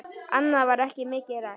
Annað var ekki mikið rætt.